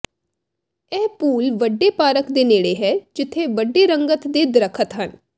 ਇਹ ਪੂਲ ਵੱਡੇ ਪਾਰਕ ਦੇ ਨੇੜੇ ਹੈ ਜਿੱਥੇ ਵੱਡੇ ਰੰਗਤ ਦੇ ਦਰਖ਼ਤ ਹਨ